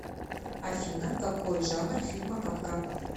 афина какой жанр фильма капкан